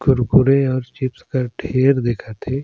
कुरकुरे और चिप्स कर ढेर दिखत हे।